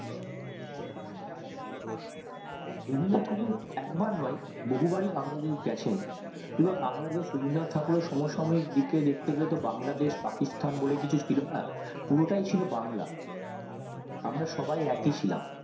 রবীন্দ্রনাথ ঠাকুর একবার না বহু বার ই বাংলাদেশ গেছেন কিন্তু বাংলাদেশ রবীন্দ্রনাথ এর সমসাময়িক দিক দিয়ে দেখতে গেলে বাংলাদেশ পাকিস্তান বলে কিছু ছিলো না পুরোটাই ছিলো বাংলা আমরা সবাই একই ছিলাম